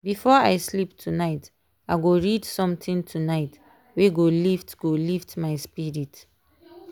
before i sleep tonight i go read something tonight wey go lift go lift my spirit.